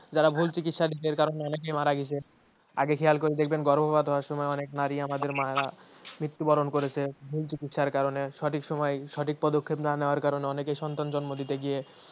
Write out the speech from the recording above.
যারা ভুল চিকিৎসা কারণে অনেক মারা গেছে। আগে খেয়াল করে দেখবেন গর্ভপাত হওয়ার সময় অনেক নারী আমাদের মায়েরা মৃত্যুবরণ করেছে। ভুল চিকিৎসার কারণে সঠিক সময়ে সঠিক পদক্ষেপ না নেয়ার কারণে অনেকে সন্তান জন্ম দিতে গিয়ে